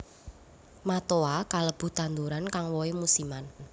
Matoa kalebu tanduran kang wohé musiman